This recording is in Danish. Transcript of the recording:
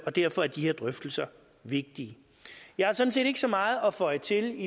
og derfor er de her drøftelser vigtige jeg har sådan set ikke så meget at føje til